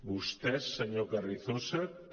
vostès senyor carrizosa també